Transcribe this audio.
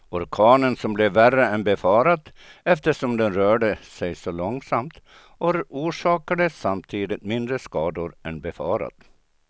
Orkanen som blev värre än befarat eftersom den rörde sig så långsamt, orsakade samtidigt mindre skador än befarat.